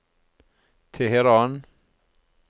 Teheran